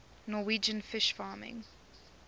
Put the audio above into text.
norwegian fish farming